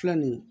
Filɛ nin ye